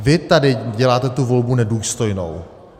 Vy tady děláte tu volbu nedůstojnou.